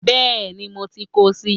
Béeni mo ti kóo si